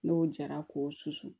N'o jara k'o susu